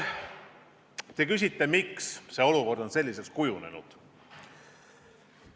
Te küsite, miks olukord on selliseks kujunenud.